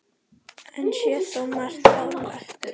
Enn sé þó margt ólært.